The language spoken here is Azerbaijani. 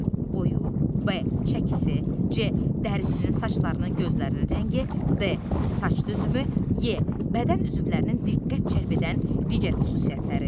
A. boyu, B. çəkisi, C. dərisinin, saçlarının, gözlərinin rəngi, D. saç düzümü, E. bədən üzvlərinin diqqət cəlb edən digər xüsusiyyətləri.